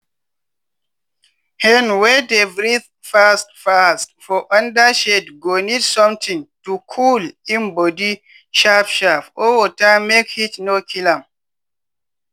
hen wey dey breathe fast fast for under shade go need sometin to cool im body sharp sharp or water make heat no kill am.